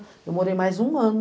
Eu morei mais um ano.